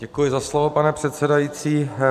Děkuji za slovo, pane předsedající.